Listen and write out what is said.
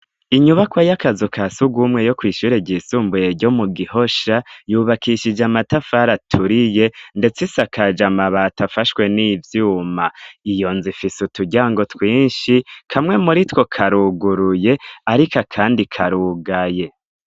Inyubako y'utuzu twasugumwe yo kw'ishure ry'isumbuye ryo mu gihosha yubakishij' amatafar' aturiye ndets' isakaj' amabat' afashwe n'ivyuma, iyonz' ifis' uturyango twinshi dukozwe mumbaho z' ibiti kamwe muri two karuguruye, kuruhome hasiz' umusenyi, hejuru kugisenge har' ivyuma bifash' amabati yera.